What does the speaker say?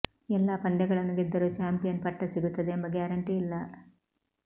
ಎಲ್ಲಾ ಪಂದ್ಯಗಳನ್ನು ಗೆದ್ದರೂ ಚಾಂಪಿಯನ್ ಪಟ್ಟ ಸಿಗುತ್ತದೆ ಎಂಬ ಗ್ಯಾರಂಟಿ ಇಲ್ಲ